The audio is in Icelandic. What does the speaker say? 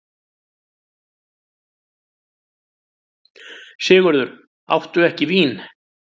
SIGURÐUR: Áttu ekki vín?